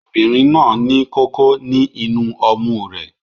Obìnrin náà ní kókó ní inú ọmú rẹ